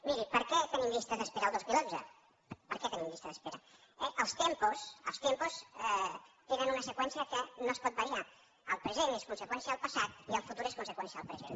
miri per què tenim llista d’espera el dos mil onze per què tenim llista d’espera els tempos els seqüència que no es pot variar el present és conseqüència del passat i el futur és conseqüència del present